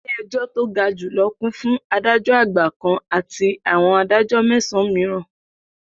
Ilé-ẹjọ́ to ga jù lọ kún fi Adájọ́ Àgbà kan àti àwọn Adájọ́ mẹ́sàn-an mìíràn.